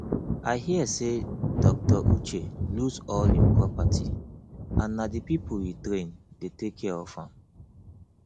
i hear say dr uche lose all im property and na the people he train dey take care of am